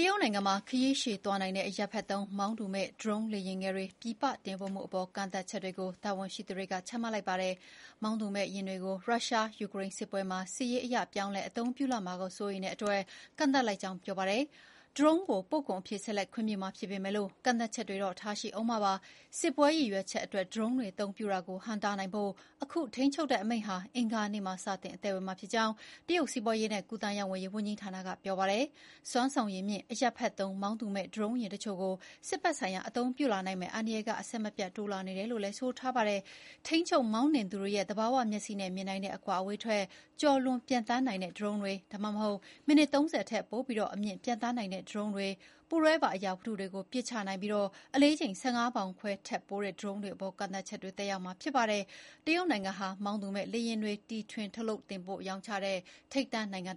ရုတ်နိုင်ငံမှာခရီးရှည်သွားနိုင်တဲ့ အရပ်ဖက်သုံး မောင်းသူမဲ့ ဒရုန်းလေယာဉ်ငယ်တွ ပြည်ပတင်ပို့မှုအပေါ် ကန့်သတ်ချက်တွေ ချမှတ်လိုက်ပါတယ်။ မောင်းသူမဲ့ယာဉ်တွေကို ရုရှား-ယူကရိန်းစစ်ပွဲမှာ စစ်ရေးအရ ပြောင်းလဲအသုံးပြုလာမှာကို စိုးရိမ်လို့ ဒီလို ကန့်သတ်လိုက်ကြောင်း ပြောပါတယ်။ ဒရုန်းကို ပို့ကုန်အဖြစ် ဆက်လက်ခွင့်ပြုမှာ ဖြစ်ပေမယ့်ကန့်သတ်ချက်တွေ ထားမှာ ဖြစ်ပါတယ်။ "စစ်ပွဲရည်ရွယ်ချက်" အတွက် ဒရုန်းတွေအသုံးပြုတာကိုဟန့်တားနိုင်ဖို့ အခု ထိန်းချုပ်တဲ့အမိန့်ဟာ အင်္ဂါနေ့မှာပဲ စတင် အသက်ဝင်မှာဖြစ်ကြောင်း တရုတ် စီးပွားရေးနှင့်ကူးသန်းရောင်းဝယ်ရေးဝန်ကြီးဌာနက ပြောပါတယ်။ “စွမ်းဆောင်ရည်မြင့် အရပ်ဖက်သုံး မောင်းသူမဲ့ ဒရုန်းယာဉ်အချို့ကို စစ်ဘက်ဆိုင်ရာအသုံးပြုလာနိုင်မယ့်အန္တရာယ်က အဆက်မပြတ် တိုးလာနေတယ်” လို့ ဆိုပါတယ်။ ထိန်းချုပ် မှောင်းနှင်သူတွေရဲ့ သဘာဝမျက်စိနဲ့မြင်နိုင်တဲ့အကွာအဝေးထက် ကျော်လွန်ပျံသန်းနိုင်တဲ့ဒရုန်းတွေ၊ ဒါမှမဟုတ် မိနစ် ၃၀ ထက်ပိုပြီး အမြင့် ပျံသန်းနိုင်တဲ့ ဒရုန်းတွေ၊ ပူးတွဲပါ အရာဝတ္ထုတွေကို ပစ်ချနိုင် ပြီး အလေးချိန် ၁၅ ပေါင်ခွဲထက်ပိုတဲ့ ဒရုန်းတွေအပေါ် ကန့်သတ်ချက်တွေကသက်ရောက်မှာ ဖြစ်ပါတယ်။ တရုတ်နိုင်ငံဟာ မောင်းသူမဲ့လေယာဉ်တွေ တီထွင်ထုတ်လုပ်တင်ပို့ရောင်းချတဲ့ ထိပ်တန်းနိုင်ငံပါ။